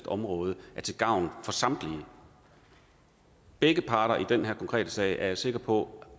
område er til gavn for samtlige begge parter i den her konkrete sag er jeg sikker på